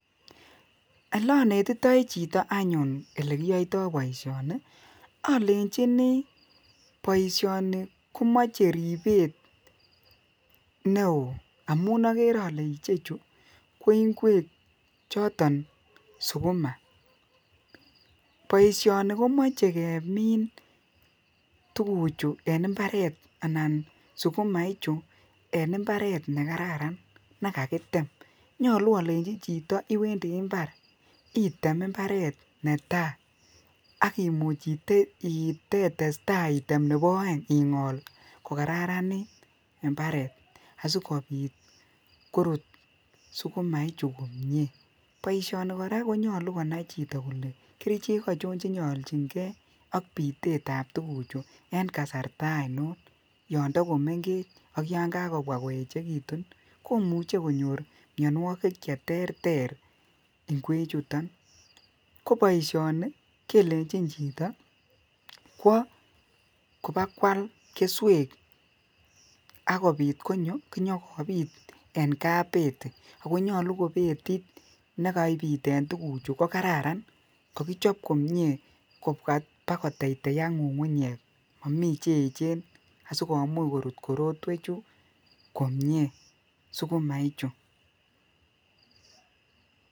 Ole onetitoi chito anyun olekiyoito boishoni olenjinii boishoni komoche ribet neo amun okere ole ichechu ko ingwek choton sukuma, boishoni komoche kemin tukuchu en imbaret anan sukuma ichu en imbaret nekararan nekakitem, nyolu olenji chito iwendii imbar item imbaret netai ak iwe iteitem nebo oengi ingol kokararanit imbaret asikopit korut sukuma ichu komie. Boishoni Koraa konyolu konai chito kole kerichek ochon chenyoljingee ak pitet tab tukuchu en kasarta oinon yon tokomenkech ak yon kakobwa koyechekitun komuche konyor mionwokik cheterter ingwek chuton, ko boishoni kelenji chito kwo kobakwal kesuek ak kobit konyo konyokobit en kabeti ako nyolu ko betit nekaipiten tukuchu ko kararan kokichop komie kobwa pakoteteak ngungunyek momii cheyechen asikomuch korut korotwek chuu komie sukuma ichu.